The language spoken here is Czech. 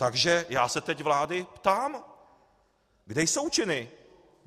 Takže já se teď vlády ptám: Kde jsou činy?